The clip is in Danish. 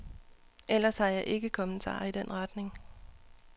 Ellers har jeg ikke kommentarer i den retning.